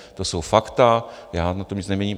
To jsou fakta, já na tom nic neměním.